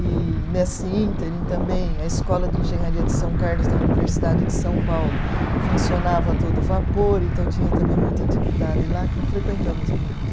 E nesse ínterim também a escola de engenharia de São Carlos da Universidade de São Paulo funcionava a todo vapor, então tinha também muita atividade lá que frequentamos muito.